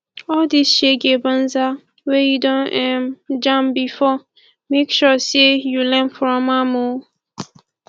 all di shege banza wey yu don um jam bifor mek sure sey yu learn from am o